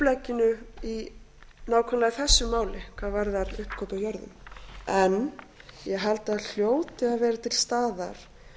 upplegginu í nákvæmlega þessu máli hvað varðar uppkaup á jörðum en ég held að það hljóti að vera til staðar